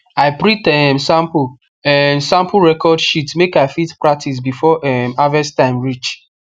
i print um sample um sample record sheet make i fit practice before um harvest time reach